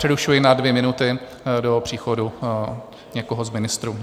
Přerušuji na dvě minuty do příchodu někoho z ministrů.